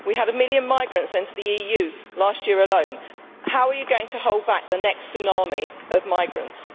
We had a million migrants enter the EU last year alone. How are you going to hold back the next tsunami of migrants?